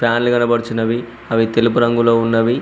ఫ్యాన్లు కనబడుచున్నవి అవి తెలుపు రంగులో ఉన్నవి.